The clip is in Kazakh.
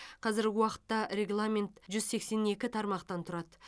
қазіргі уақытта регламент жүз сексен екі тармақтан тұрады